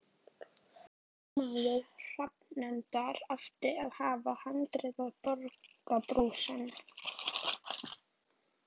Formaður hafnarnefndar átti að hafa harðneitað að borga brúsann.